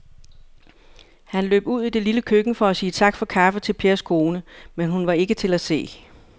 Han løb ud i det lille køkken for at sige tak for kaffe til Pers kone, men hun var ikke til at se.